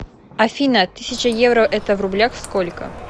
афина тысяча евро это в рублях сколько